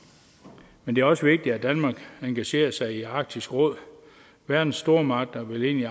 men det er også vigtigt at danmark engagerer sig i arktisk råd verdens stormagter vil ind i